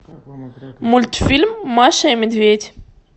мультфильм маша и медведь